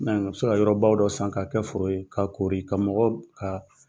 bɛ se ka yɔrɔba dɔ san ka kɛ foro ye, ka kori ka mɔgɔ ka